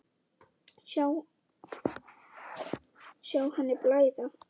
Sjá henni blæða.